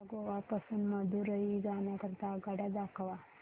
मला गोवा पासून मदुरई जाण्या करीता आगगाड्या दाखवा